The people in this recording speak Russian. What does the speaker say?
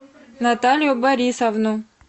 наталию борисовну